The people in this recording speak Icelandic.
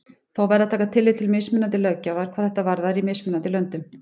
Þó verði að taka tillit til mismunandi löggjafar hvað þetta varðar í mismunandi löndum.